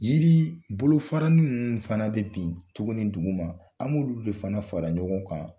Yiri bolofaranin munun fana bɛ bin tuguni duguma , an b'olu de fana fara ɲɔgɔn kan